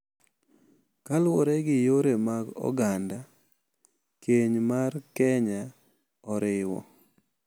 Kaluwore gi yore mag oganda, keny mar Kenya oriwo